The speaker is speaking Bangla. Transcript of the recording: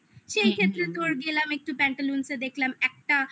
সেই ক্ষেত্রে তোর গেলাম একটু pantalones এ দেখলাম একটা